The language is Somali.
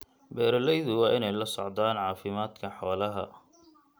Beeralaydu waa inay la socdaan caafimaadka xoolaha.